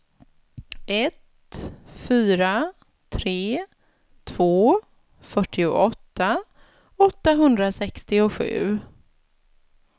ett fyra tre två fyrtioåtta åttahundrasextiosju